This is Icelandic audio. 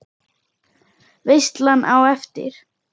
Veislan á eftir?